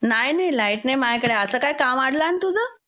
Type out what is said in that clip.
नाय, नाय. लाईट नाय मायाकडं. आता काय काम आडलान तुझं?